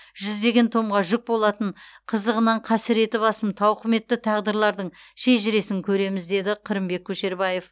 жүздеген томға жүк болатын қызығынан қасіреті басым тауқыметті тағдырлардың шежіресін көреміз деді қырымбек көшербаев